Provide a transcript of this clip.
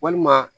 Walima